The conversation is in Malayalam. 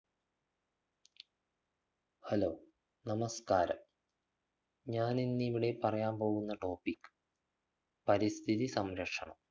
hello നമസ്കാരം ഞാനിന്നിവിടെ പറയാൻ പോകുന്ന topic പരിസ്ഥിതി സംരക്ഷണം